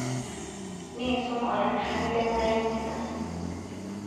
nisuum olairrirrani le nkai misa